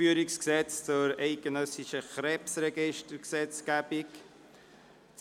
«Einführungsgesetz zur eidgenössischen Krebsregistrierungsgesetzgebung (EG KRG)».